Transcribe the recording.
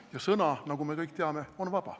Ja sõna, nagu me kõik teame, on vaba.